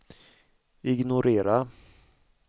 ignorera